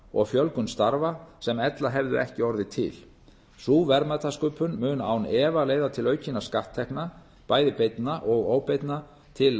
og fjölgun starfa sem ella hefðu ekki orðið til sú verðmætasköpun mun án efa leiða til aukinna skatttekna bæði beinna og óbeinna til